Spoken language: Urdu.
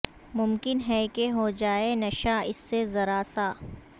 ممکن ہے کہ ہوجائے نشہ اس سے ذرا سا